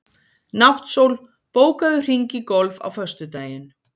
Náttsól, bókaðu hring í golf á föstudaginn.